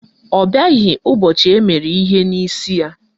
Ọ bịaghị ụbọchị emere ihe n'isi ya